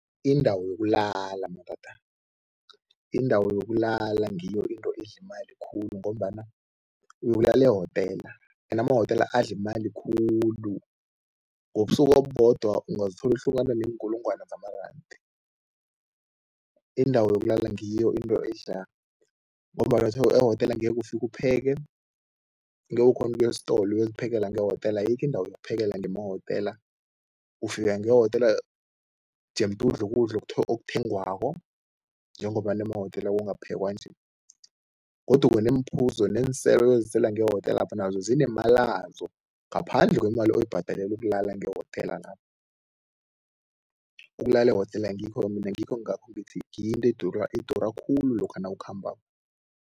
Indawo yokulala madoda, indawo yokulala ngiyo into edla imali khulu ngombana ulala ehotela ende amahotela adla imali khulu. Ngobusuku obubodwa ungazithola uhlukane neenkulungwana zamarandi. Indawo yokulala ngiyo into edla ngombana ehotela angeke ufike upheke, angeke ukghone ukuya esitolo uyokuphekela ngehotela, ayikho indawo yokuphekela ngemahotela. Ufika ngehotela jemde udle ukudla okuthengwako njengombana emahotela kungaphekwa nje godu neemphuzo neeselo oyozisela ngehotelapha nazo zinemalazo, ngaphandle kwemali oyibhadelela ukulala ngehotelapho. Ukulala ehotela ngikho-ke mina ngikho kungakho ngithi, ngiyo into edura edura khulu lokha nawukhambako.